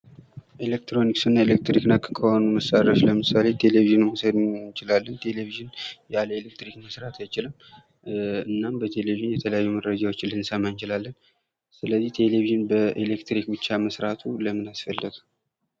ኤሌክትሮኒክስ እና ኤሌክትሪክ ነክ ከሆኑ ለምሳሌ ቴሌቪዥንን መውሰድ እንችላለን ። ቴሌቪዥን ያለ ኤሌክትሪክ መስራት አይችልም ። እናም በቴሌቪዥን የተለያዩ መረጃዎችን ልንሰማ እንችላለን ። ስለዚህ ቴሌቪዥን በኤሌትሪክ ብቻ መስራቱ ለምን አስፈለገ ?